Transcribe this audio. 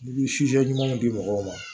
N'i bi ɲuman di mɔgɔw ma